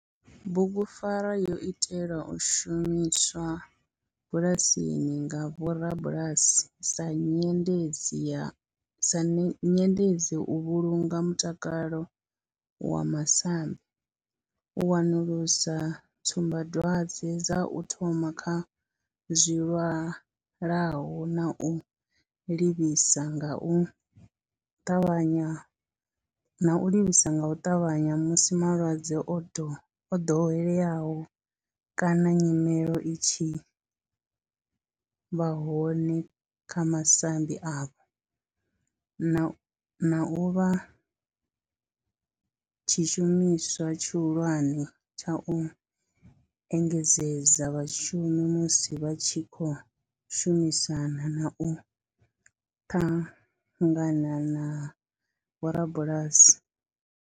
Bugupfarwa yo itelwa u shumiswa bulasini nga vhorabulasi sa nyendedzi u vhulunga mutakalo wa masambi, u wanulusa tsumbadwadzwe dza u thoma kha zwilwalaho na u livhisa nga u ṱavhanya musi malwadze o dovheleaho kana nyimele i tshi vha hone kha masambi avho, na u vha tshishumiswa tshihulwane tsha u engedzedza vhashumi musi vha tshi khou shumisana na u ṱangana na vhorabulasi.